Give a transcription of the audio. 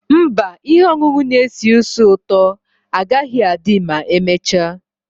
Mba, ihe ọṅụṅụ na-esi ísì ụtọ agaghị adị ma emechaa.